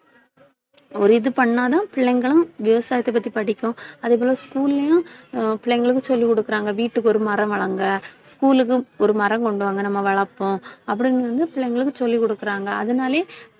ஒரு இது பண்ணா தான் பிள்ளைங்களும் விவசாயத்தை பத்தி படிக்கும் அதே போல, school லயும், பிள்ளைங்களுக்கும் சொல்லிக் கொடுக்கிறாங்க வீட்டுக்கு ஒரு மரம் வளருங்க school க்கும் ஒரு மரம் கொண்டு வாங்க நம்ம வளர்ப்போம். அப்படின்னு வந்து, பிள்ளைங்களுக்கு சொல்லிக் கொடுக்கிறாங்க அதனாலேயே